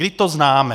Vždyť to známe.